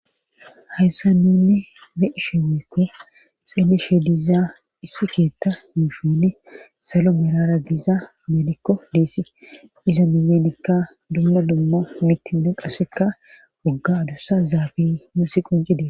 hayssa nunni be ishe weekke xeeli she dizaa issi keetta muushone salo merara giiza medikko deessi iza miyenikka dumma dumma mitine qassekka wogga dossa zaabi muusi qon cide